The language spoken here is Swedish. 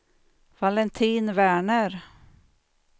Valentin Werner